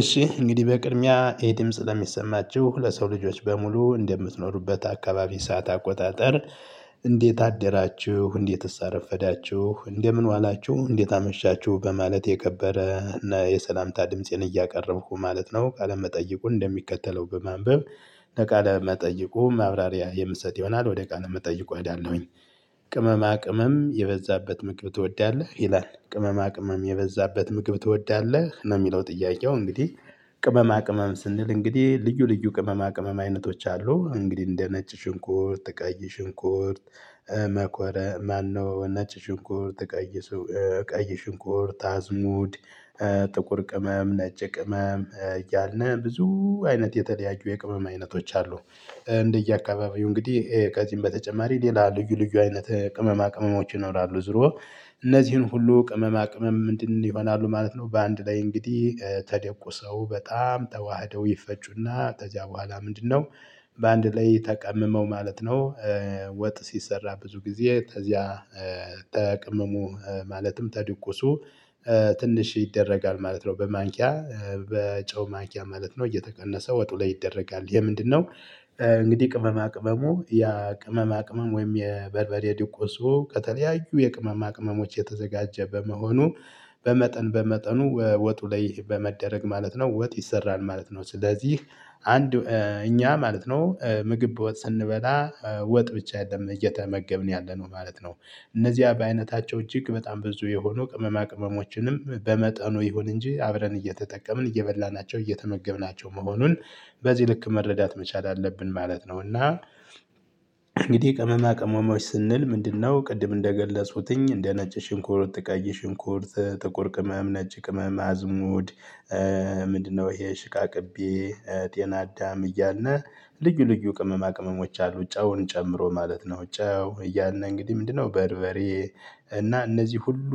እሺ እንግዲህ በቅድሚያ ይሄ ድምጽ ለሚሰማችሁ ለሰው ልጆች በሙሉ እንደምትኖሩበት አካባቢ ሰዓት አቆጣጠር? እንዴት አደራችሁ እንዴት አረፈዳችሁ እንደምን ዋላችሁ እንዴት አመሻችሁ በማለት የከበረ የሰላምታ ድምፄን እያቀረብኩ ማለት ነው። ቃለመጠየቁ እንደሚከተለው በማንበብ ለቃለ መጠይቁ ማብራሪያ የምሰጥ ይሆናል። ወደ ቃለ መጠይቁ እሄዳለሁኝ። ቅመማ ቅመም የበዛበት ምግብ ትወዳለህ ይላል ቅመማ ቅመም የበዛበት ምግብ ትወዳለህ ነው የሚለው ጥያቄው እንግዲህ። ቅመማ ቅመም ስንል እንግዲህ ልዩ ልዩ ቅመማ ቅመም አይነቶች አሉ እንግዲህ እንደ ነጭ ሽንኩርት ቀይ ሽንኩርት። መቆረ ማነው ነጭ ሽንኩርት። ቀይ ሽንኩርት አዝሙድ። ጥቁር ቅመም ነጭ ቅመም እያልን ብዙ አይነት የተለያየ የቅመም አይነቶች አሉ። እንደየአካባቢው እንግዲህ ከዚህም በተጨማሪ ሌላ ልዩ ልዩ አይነት ቅመማ ቅመሞች ይኖራሉ ዞሮ። እነዚህን ሁሉ ቅመማ ቅመም ምንድነው ይሆናሉ ማለት ነው። በአንድ ላይ እንግዲህ ተደቁሰው በጣም ተዋህደው ይፈጩና ተዛ በኋላ ምንድነው? በአንድ ላይ ተቀምመው ማለት ነው። ወጥ ሲሰራ ብዙ ጊዜ ተዚያ። ተቅመሙ ማለትም ተድቆሱ። ትንሽ ይደረጋል ማለት ነው። በማንኪያ በጨው ማንኪያ ማለት ነው እየተቀነሰ ወጡ ላይ ይደረጋል የምንድነው? እንግዲህ ቅመማ ቅመሙ ያ ቅመማ ቅመም ወይም የበርበሬ ድቆሱ ከተለያዩ የቅመማ ቅመሞች የተዘጋጀ በመሆኑ። በመጠን በመጠኑ ወጡ ላይ በመደረግ ማለት ነው ወጥ ይሰራል ማለት ነው። ስለዚህ አንድ እኛ ማለት ነው ምግብ በወጥ ስንበላ ወጥ ብቻ የለም እየተመገብን ያለነው ማለት ነው። እነዚህ በአይነታቸው እጅግ በጣም ብዙ የሆኑ ቅመማ ቅመሞችንም በመጠኑ ይሁን እንጂ አብረን እየተጠቀምን እየበላናቸው እየተመገብናቸው መሆኑን በዚህ ልክ መረዳት መቻል አለብን ማለት ነው። እና እንግዲህ ቀመማ ቀመሞች ስንል ምንድነው? ቅድም እንደገለጹትኝ እንደ ነጭ ሽንኩርት ቀይ ሽንኩርት ጥቁር ቅመም ነጭ ቅመም አዝሙድ። ምንድነው? ይሄ ሽቃቅቤ ጤና አዳም እያለ ልዩ ልዩ ቅመማ ቅመሞች አሉ ጨውን ጨምሮ ማለት ነው። ጨው እያልን ነው እንግዲህ ምንድነው? በርበሬ። እና እነዚህ ሁሉ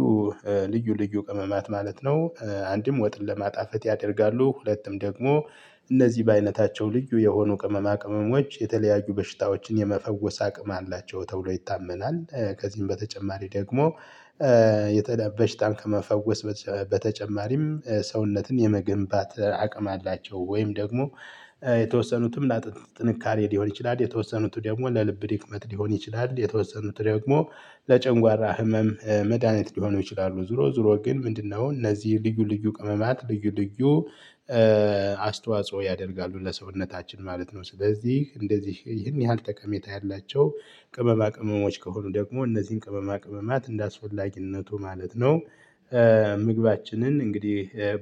ልዩ ልዩ ቅመማት ማለት ነው። አንድም ወጥን ለማጣፈት ያደርጋሉ ሁለቱም ደግሞ። እነዚህ በአይነታቸው ልዩ የሆኑ ቅመማ ቅመሞች የተለያዩ በሽታዎችን የመፈወስ አቅም አላቸው ተብሎ ይታመናል። ከዚህም በተጨማሪ ደግሞ። የተደበች በሽታን ከመፈወስ። በተጨማሪም ሰውነትን የመገንባት አቅም አላቸው ወይም ደግሞ የተወሰኑትም ለአጥንት ጥንካሬ ሊሆን ይችላል። የተወሰኑት ደግሞ ለልብ ድክመት ሊሆን ይችላል። የተወሰኑት ደግሞ ለጨንጓራ ህመም መድሃኒት ሊሆኑ ይችላሉ። ዞሮ ዞሮ ግን ምንድነው? እነዚህ ልዩ ልዩ ቅመማት ልዩ ልዩ አስተዋጽኦ ያደርጋሉ ለሰውነታችን ማለት ነው። ስለዚህ እንደዚህ ይህን ያህል ጠቀሜታ ያላቸው ቅመማ ቅመሞች ከሆኑ ደግሞ እነዚህን ቅመማ ቅመማት እንዳስፈልግነቱ ማለት ነው። ምግባችንን እንግዲህ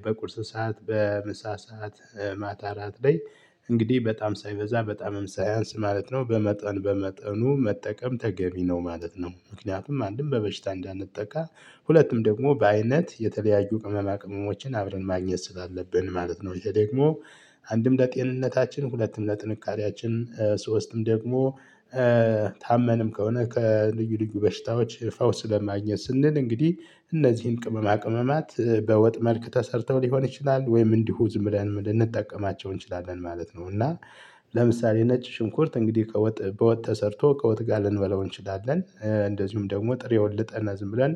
በቁርስ ሰዓት በምሳ ሰዓት ማታ አራት ላይ እንግዲህ በጣም ሳይበዛ በጣም ሳያንስ ማለት ነው በመጠን በመጠኑ መጠቀም ተገቢ ነው ማለት ነው። ምክንያቱም አንድም በበሽታ እንዳንጠቃ ሁለቱም ደግሞ በአይነት የተለያዩ ቅመማ ቅመሞችን አብረን ማግኘት ስላለብን ማለት ነው። ይሄ ደግሞ አንድም ለጤንነታችን ሁለትም ለጥንካሬያችን ሶስትም ደግሞ። ታመንም ከሆነ ከልዩ ልዩ በሽታዎች ፈውስ ለማግኘት ስንል እንግዲህ እነዚህን ቅመማ ቅመማት በወጥ መልክ ተሰርተው ሊሆን ይችላል ወይም እንዲሁ ዝምብለን ልንጠቀማቸው እንችላለን ማለት ነው። እና ለምሳሌ ነጭ ሽንኩርት እንግዲህ ከወጥ በወጥ ተሰርቶ ከወጥ ጋር ልንበላው እንችላለን። እንደዚሁም ደግሞ ጥሬውን ልጠን እና ዝም ብለን።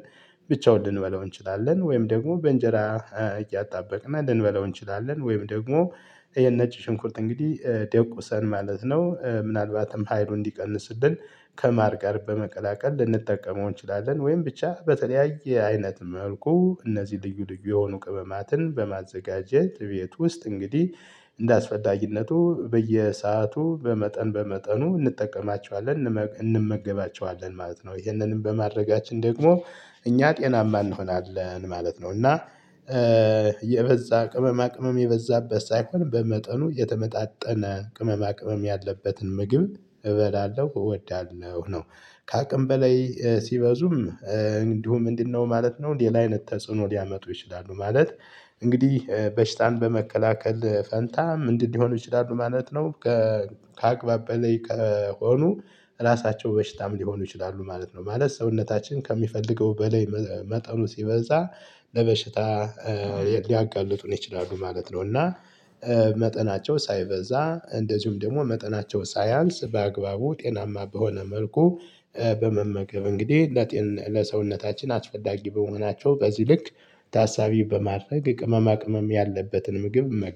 ብቻውን ልንበላው እንችላለን ወይም ደግሞ በእንጀራ እያጣበቅና ልንበለው እንችላለን። ወይም ደግሞ። ይሄን ነጭ ሽንኩርት እንግዲህ ደቁሰን ማለት ነው። ምናልባትም ሀይሉ እንዲቀንስ ስትል ከማር ጋር በመቀላቀል ልንጠቀመው እንችላለን። ወይም ብቻ በተለያየ አይነት መልኩ እነዚህ ልዩ ልዩ የሆኑ ቅመማትን በማዘጋጀት ቤት ውስጥ እንግዲህ። እንደአስፈላጊነቱ በየሰአቱ በመጠን በመጠኑ እንጠቀማቸዋለን እንመገባቸዋለን ማለት ነው። ይሄንንም በማድረጋችን ደግሞ እኛ ጤናማ እንሆናለን ማለት ነው። እና የበዛ ቅመማ ቅመም የበዛበት ሳይሆን በመጠኑ የተመጣጠነ ቅመማ ቅመም ያለበትን ምግብ እበላለሁ እወዳለሁ ነው። ከአቅም በላይ ሲበዙም እንዲሁ ምንድነው? ማለት ነው ሌላ አይነት ተጽዕኖ ሊያመጡ ይችላሉ ማለት። እንግዲህ በሽታን በመከላከል ፈንታ ምንድን እንዲሆኑ ይችላሉ ማለት ነው። ከአቅባበሌ ከሆኑ ራሳቸው በሽታም ሊሆኑ ይችላሉ ማለት ነው። ማለት ሰውነታችን ከሚፈልገው በላይ መጠኑ ሲበዛ ለበሽታ ሊያጋልጡን ይችላሉ ማለት ነው። እና። መጠናቸው ሳይበዛ እንደዚሁም ደግሞ መጠናቸው ሳያንስ በአግባቡ ጤናማ በሆነ መልኩ በመመገብ እንግዲህ ለሰውነታችን አስፈላጊ በመሆናቸው በዚህ ልክ። ታሳቢ በማድረግ ቅመማ ቅመም ያለበትን ምግብ